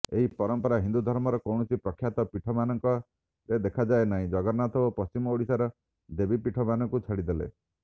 ଏହି ପରମ୍ପରା ହିନ୍ଦୁଧର୍ମର କୌଣସି ପ୍ରଖ୍ୟାତ ପୀଠମାନଙ୍କରେ ଦେଖାଯାଏ ନାହିଁ ଜଗନ୍ନାଥ ଓ ପଶ୍ଚିମ ଓଡ଼ିଶାର ଦେବୀପୀଠମାନଙ୍କୁ ଛାଡ଼ିଦେଲେ